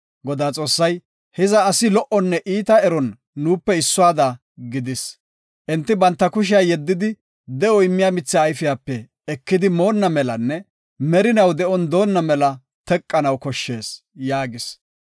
Godaa Xoossay, “Hiza asi lo77onne iita eron nuupe issuwada gidis. Enti banta kushiya yeddidi, de7o immiya mitha ayfiyape ekidi moonna melanne merinaw de7on doona mela teqetanaw koshshees” yaagis.